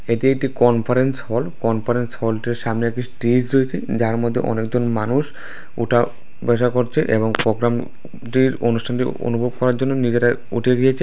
এটি একটি conference hall conference হলটির সামনে একটি স্টেজ রয়েছে যার মধ্যে অনেক জন মানুষ ওঠা বসা করছে এবং পোগ্রাম -টির অনুষ্ঠানটি অনুভব করার জন্য নিজেরা উঠে গিয়েছে।